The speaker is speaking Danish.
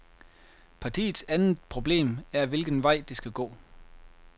Partiets andet problem er hvilken vej, det skal gå.